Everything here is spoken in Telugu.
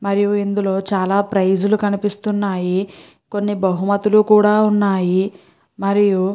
మరియు ఇందులో చాలా ప్రైజ్ లు కనిపిస్తున్నాయి. కొని బహుమతల్లు కూడా ఉన్నాయి మరియు --